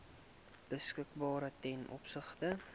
beskikbaar ten opsigte